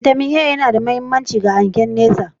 "Vitamin A" yana da mahimmanci ga hangen nesa